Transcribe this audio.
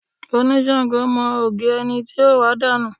Onisango mọ ògì ẹni tí yóò wà dànù.